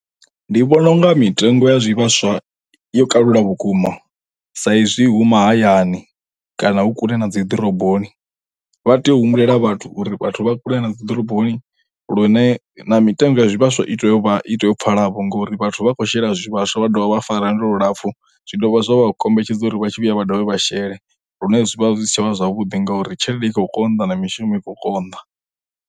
Ndi vhona unga mitengo ya zwivhaswa yo kalula vhukuma sa izwi hu mahayani kana hu kule na dzi ḓoroboni vha tea humbulela vhathu uri vhathu vha kule na dzi ḓoroboni lune na mitengo ya zwivhaswa i itea uvha iteyo pfala vho ngori vhathu vha khou shela zwivhaswa vha dovha vha fara lwendo lulapfu zwi dovha zwa vha kombetshedza uri vha tshi vhuya vha dovha vha shele lune zwi vha zwi si tshavha zwavhuḓi ngauri tshelede ikho konḓa na mishumo ikho konḓa.